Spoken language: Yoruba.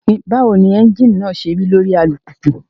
Báwo ni ẹ́ńjìnì náà ṣe rí lórí alùpùpù?